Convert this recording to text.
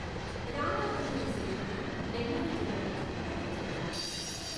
రామావఝల శేషయ్య నెల్లూరు జిల్లాకు చెందిన రచయిత.